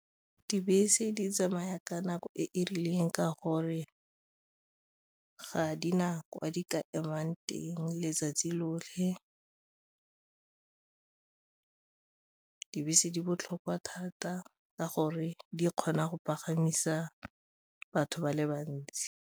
Dibese di tsamaya ka nako e e rileng ka gore ga di na kwa di ka emang teng letsatsi lotlhe, dibese di botlhokwa thata ka gore di kgona go pagamisa batho ba le bantsi.